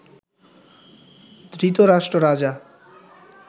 Dhritarashtra Raja